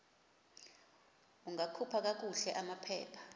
ungakhupha kakuhle amaphepha